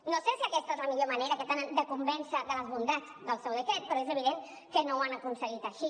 no sé si aquesta és la millor manera que tenen de convèncer de les bondats del seu decret però és evident que no ho han aconseguit així